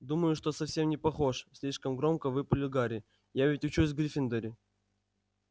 думаю что совсем не похож слишком громко выпалил гарри я ведь учусь в гриффиндоре